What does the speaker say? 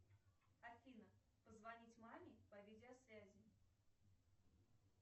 афина позвонить маме по видеосвязи